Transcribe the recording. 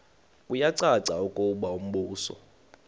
kuyacaca ukuba umbuso